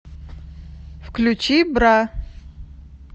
включи бра